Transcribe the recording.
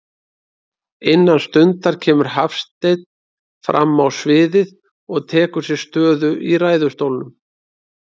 Innan stundar kemur Hafsteinn frammá sviðið og tekur sér stöðu í ræðustólnum.